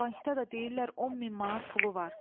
Bankda da deyirlər 10 min manat pulu var.